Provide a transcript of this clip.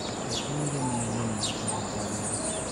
twetereire mĩario na mũtongoria